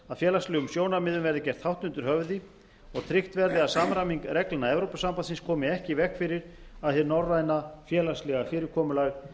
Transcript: að félagslegum sjónarmiðum verði gert hátt undir höfði og tryggt verði að samræming reglna evrópusambandsins komi ekki í veg fyrir að hið norræna félagslega fyrirkomulag